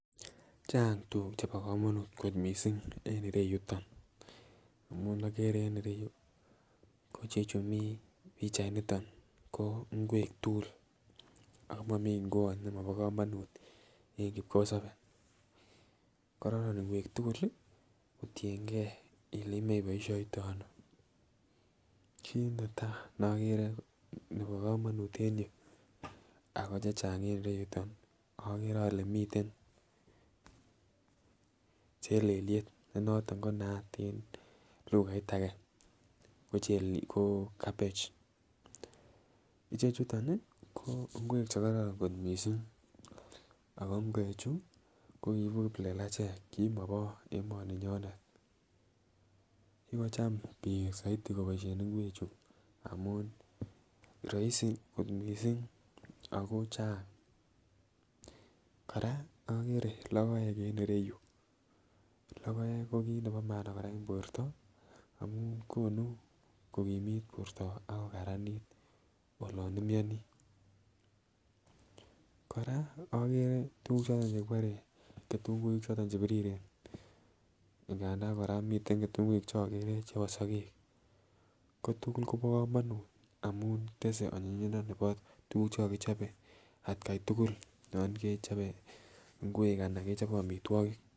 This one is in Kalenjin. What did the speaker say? Chang tukuk chebo komonut kot missing en ireyuton amun okere en ireyuu ko chechu Mii pichainiton ko ingwek tukuk ako momii ngwot nemobo komonut en kipkosobe kororon ingwek tukuk lii kotiyengee ele imoiboishoitono. Kit netai nekore nebo komonut en ireyuu ako chechang en ireyuton okere ole miten chelelyet ne noton konaat en lughait ake ko chelel cabbage ichechuton nii ko ingwek chekororon kot missing ako ingwek chuu ko kiibu kiplelachek komobo emoninyonet kikocham bik soiti koboishen ingwek chuu amun roisi kot missing ako Chang. Koraa okere lokoek en ireyuu, lokoek ko kit nebo maana Koraa en borto amun konu kokimit borto ak kokaranit olon imionii. Koraa okere tukuk choton kibore ketunguik che biriren nganda minten kitumguik cheokere choton chebo sokek ko tukul Kobo komonut amun tese onyinyindo nebo tukuk chekokichobe atgai tukul yon ibechobe ingwek anan kechoben omitwokik.